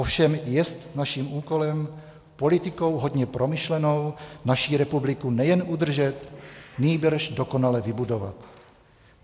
Ovšem - jest naším úkolem politikou hodně promyšlenou naši republiku nejen udržet, nýbrž dokonale vybudovat.